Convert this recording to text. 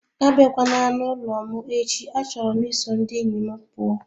Abịakwala n'ụlọ m echi achọrọ m iso ndị enyi m pụọ